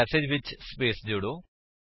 ਹੁਣ ਮੇਸੇਜ ਵਿੱਚ ਸਪੇਸ ਜੋੜੋ